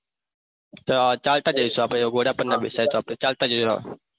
તો ચાલતા જઈશુ આપણે એવું હોય તો આપણને ના બે તો ચાલતા જઈશું.